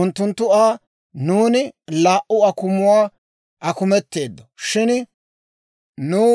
Unttunttu Aa, «Nuuni laa"u akumuwaa akumetteeddo; shin nuw